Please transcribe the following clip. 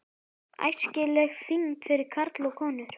ÆSKILEG ÞYNGD FYRIR KARLA OG KONUR